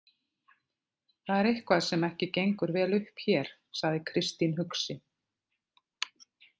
Það er eitthvað sem ekki gengur vel upp hér, sagði Kristín hugsi.